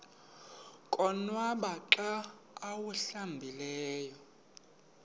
konwaba xa awuhlambileyo